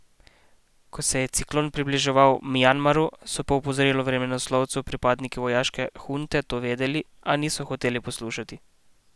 Ko se je ciklon približeval Mjanmaru, so po opozorilu vremenoslovcev pripadniki vojaške hunte to vedeli, a niso hoteli poslušati.